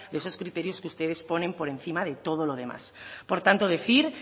de esos criterios que ustedes ponen por encima de todo lo demás por tanto decir